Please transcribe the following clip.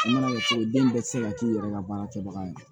den bɛɛ tɛ se ka k'i yɛrɛ ka baara kɛbaga ye